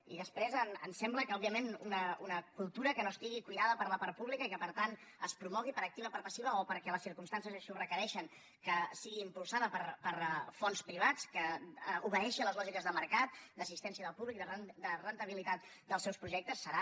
i després em sembla que òbviament una cultura que no estigui cuidada per la part pública i que per tant es promogui per activa o per passiva o perquè les circumstàncies així ho requereixen que sigui impulsada per fons privats que obeeixi a les lògiques del mercat d’assistència de públic de rendibilitat dels seus projectes serà